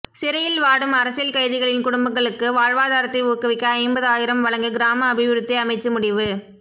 சிறையில் வாடும் அரசியல் கைதிகளின் குடும்பங்களுக்கு வாழ்வாதாரத்தை ஊக்குவிக்க ஐம்பது ஆயிரம் வழங்க கிராம அபிவிருத்தி அமைச்சு முடிவு